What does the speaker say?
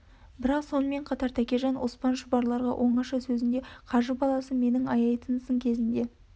бірақ сонымен қатар твкежан оспан шұбарларға оңаша сөзінде қажы баласынан менің аяйтын сын кезінде